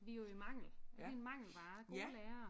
Vi er jo i mangel. Vi er en mangelvare gode lærere